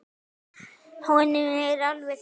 Honum er alveg sama.